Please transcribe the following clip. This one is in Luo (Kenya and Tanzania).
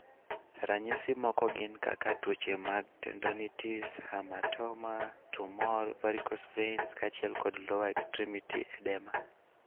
Ranyisi moko gin kaka tuoche mag tendonitis, hematoma, tumor, varicose veins, kaachiel kod lower extremity edema.